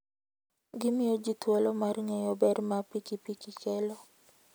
Gimiyo ji thuolo mar ng'eyo ber ma pikipiki kelo.